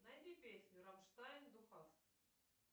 найди песню рамштайн ду хаст